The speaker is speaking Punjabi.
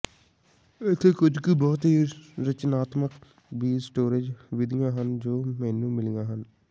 ਇੱਥੇ ਕੁਝ ਕੁ ਬਹੁਤ ਹੀ ਰਚਨਾਤਮਕ ਬੀਜ ਸਟੋਰੇਜ਼ ਵਿਧੀਆਂ ਹਨ ਜੋ ਮੈਨੂੰ ਮਿਲੀਆਂ ਹਨ